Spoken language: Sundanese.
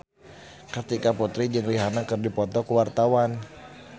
Kartika Putri jeung Rihanna keur dipoto ku wartawan